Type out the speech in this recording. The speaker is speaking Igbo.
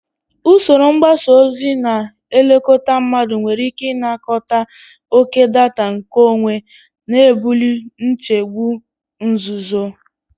Usoro mgbasa ozi na-elekọta mmadụ nwere ike ịnakọta oke data nkeonwe, na-ebuli nchegbu nzuzo.